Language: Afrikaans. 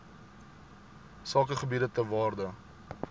sakegebiede ter waarde